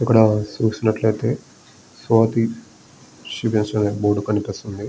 ఇక్కడ చూసినట్లయితే స్వాతి శిరీష్ అనే బోర్డు కనిపిస్తుంది.